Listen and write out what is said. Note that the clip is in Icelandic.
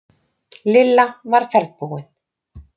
Lilla var ferðbúin.